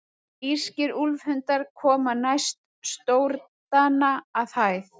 Írskir úlfhundar koma næst stórdana að hæð.